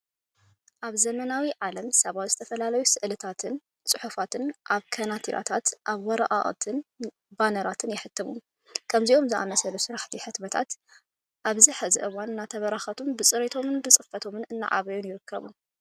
ኣብ ዘመናዊ ዓለም ሰባት ዝተፈላለዩ ስዕልታታት ፅሑፋትን ኣብ ካናቲራታት፣ ኣብ ወረቀታትን ባነራትን የህትሙ። ከምዚኦም ዝኣመሰሉ ስራሕቲ ህትመታት ኣብዚ ሕዚ እዋን እናተበራኸቱን ብፅሬቶም ፅፈቶም እናዓበዩን ይርከቡ።